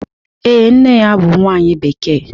Ee, nne ya bụ nwanyị Bekee